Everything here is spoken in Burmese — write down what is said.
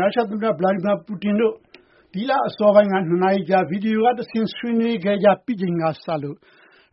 ရုရှား သမ္မတ Vladimir Putin တို့ ဒီလ အစောပိုင်းက ၂ နာရီကြာ ဗွီဒီယို က တဆင့် ဆွေးနွေးခဲ့ကြပြီးချိန်က စလို့